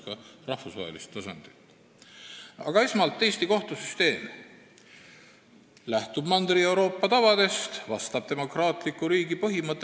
Ma võib-olla käsitlen seda teemat rohkem filosoofiliselt kui praktilise õigusemõistmise ja õigusinstitutsioonide seisukohalt ning mõneti jätkan teemal, millega alustas kolleeg Jüri Adams.